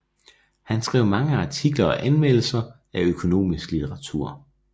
Han skrev mange artikler og anmeldelser af økonomisk litteratur